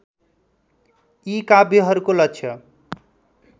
यी काव्यहरूको लक्ष्य